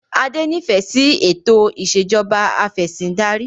Adé nifẹ si ètò ìsèjọba afẹ̀sindarí